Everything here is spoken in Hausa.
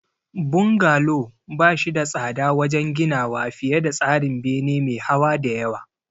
Bungalow ba shi da tsada wajen ginawa fiye da tsarin bene me hawa da yawa.